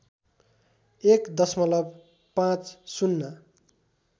१ दशमलव ५०